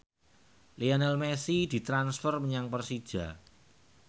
Lionel Messi ditransfer menyang Persija